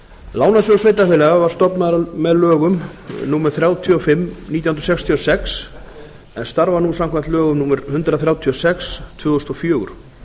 lánasjóður sveitarfélaga var stofnaður með lögum númer þrjátíu og fimm nítján hundruð sextíu og sex en starfar nú samkvæmt lögum númer hundrað þrjátíu og sex tvö þúsund og fjögur